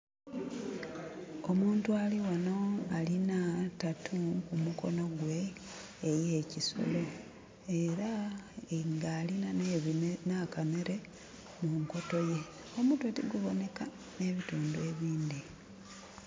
Omuntu alighano alina tattoo ku mukono gwe ey'ekisolo era nga alina na kanhere mu nkoto ye. Omutwe tigubonheka nhe bitundhu ebindhi.